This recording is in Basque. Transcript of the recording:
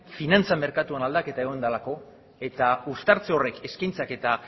finantza merkatuan egon delako eta uztartze horrek eskaintzak eta